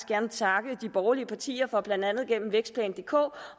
gerne takke de borgerlige partier for blandt andet gennem vækstplan dk